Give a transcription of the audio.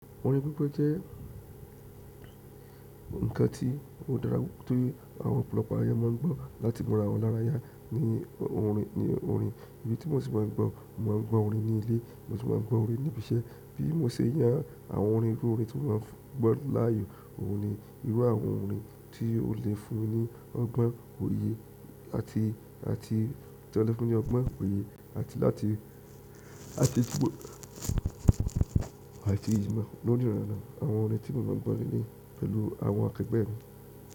Orin gbígbo jẹ́ ǹkan tí ó dára, torí àwọn ọ̀pọ̀lọpọ̀ ayé máa ń gbọ́ láti múra wọn lára yá ní orin, ní orin. Idí tí mo sì máa ń gbọ́, mo máa ń gbọ́ orin ní ilé, mo sì máa ń gbọ́ orin níbi iṣẹ́. Bí mo ṣe yàn àwọn orin irú orin tí mo ma gbọ́ láàyò, òun ni irú àwọn orin tí ó le fún ní ọgbọ́n òye àti, àti tí wọ́n le fún ní ọgbọ́n òye àti láti, àti gbogbo àti ìṣíma. Lo ni ranran, àwọn orin ti mo ma gbo le leyi pẹ̀lú àwọn akegbe-mi.